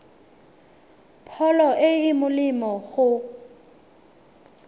pholo e e molemo go